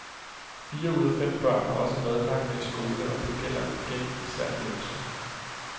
Fire ud af fem børn har også madpakke med i skole, og det gælder igen især de yngste.